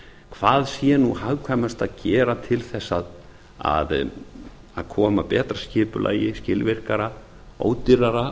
hvað sé nú hagkvæmast að gera til þess að koma betra skipulagi skilvirkara ódýrara